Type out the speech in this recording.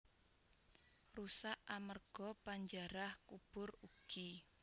Rusak amerga panjarah kubur ugi